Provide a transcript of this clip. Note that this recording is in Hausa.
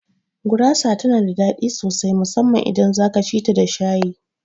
Gurasa tana da daɗi sosai musamman idan zaka cita da shayi